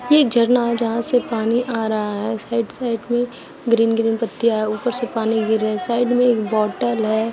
ये एक झरना है जहां से पानी आ रहा है। साइड साइड में ग्रीन ग्रीन पत्तियां हैं। ऊपर से पानी गिर रहा है। साइड में एक बॉटल है।